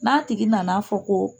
N'a tigi nan'a fɔ ko